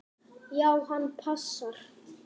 Já, hann passar.